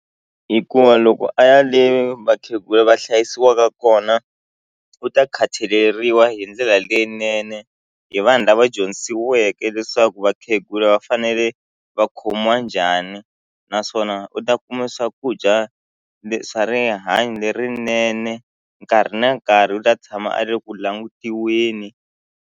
Hikuva loko a ya le vakhegula va hlayisiwaka kona u ta khataleriwa hi ndlela leyinene hi vanhu lava dyondzisiweke leswaku vakhegula va fane ina va khomiwa njhani naswona u ta kuma swakudya swa rihanyo lerinene nkarhi na nkarhi u ta tshama a le ku langutiweni.